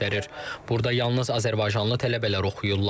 Burda yalnız azərbaycanlı tələbələr oxuyurlar.